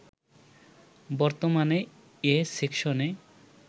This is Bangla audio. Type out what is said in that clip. বর্তমানে এ সেকশনে